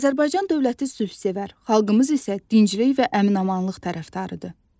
Azərbaycan dövləti sülhsevər, xalqımız isə dinclik və əmin-amanlıq tərəfdarıdır.